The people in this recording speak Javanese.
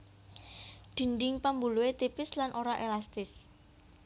Dinding pambuluhé tipis lan ora élastis